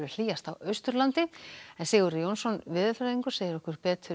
hlýjast á Austurlandi Sigurður Jónsson veðurfræðingur segir okkur betur